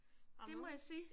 Det må jeg sige